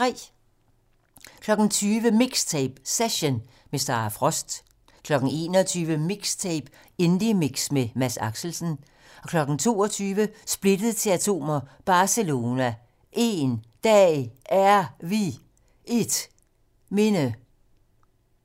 20:00: MIXTAPE - Session - med Sara Frost 21:00: MIXTAPE - Indiemix med Mads Axelsen 22:00: Splittet til atomer - Barselona: 1 Dag Er Vi 1 Minde